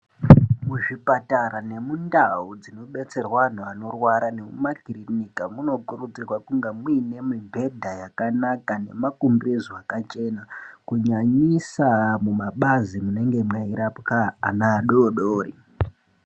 Mu zvipatara ne mundau dzino detserwa vantu vanorwara ne mu makirinika muno kurudzirwa kunga muine mibhedha yakanaka ne makumbezi aka chena kunyanyisa mu mabazi munenge meyi rapwa ana adodori.